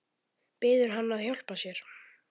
Biður hann að hjálpa sér.